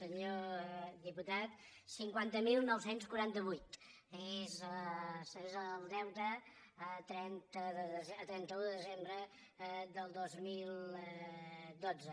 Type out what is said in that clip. senyor diputat cinquanta mil nou cents i quaranta vuit és el deute a trenta un de desembre del dos mil dotze